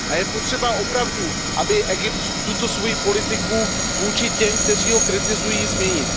Je potřeba opravdu, aby Egypt tuto svoji politiku vůči těm, kteří ho kritizují, změnil.